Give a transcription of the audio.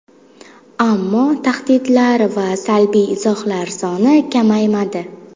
Ammo tahdidlar va salbiy izohlar soni kamaymadi.